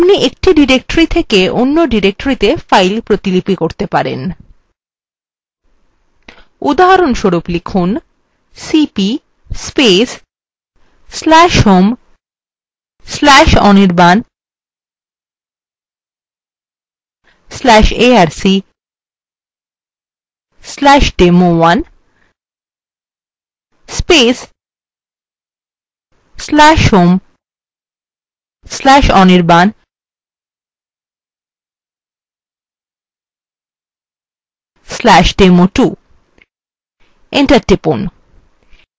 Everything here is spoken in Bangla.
আপনি we directories থেকে অন্য ডিরেকটরিত়ে files copy করতে পারেন উদাহরণস্বরূপ লিখুন